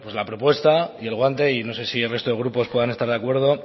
la propuesta y el guante y no sé si el resto de grupos puedan estar de acuerdo